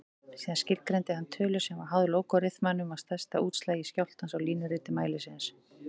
Síðan skilgreindi hann tölu sem var háð lógariþmanum af stærsta útslagi skjálftans á línuriti mælisins.